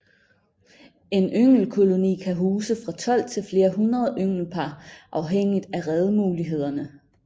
En ynglekoloni kan huse fra 12 til flere hundrede ynglepar afhængigt af redemulighederne